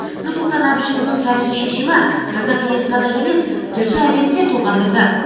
нұрсұлтан әбішұлының тарихи шешімі қазақ елін ғана емес түркі әлемін де толғандырды